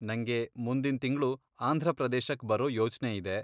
ನಂಗೆ ಮುಂದಿನ್ ತಿಂಗ್ಳು ಆಂಧ್ರಪ್ರದೇಶಕ್ ಬರೋ ಯೋಚ್ನೆ ಇದೆ.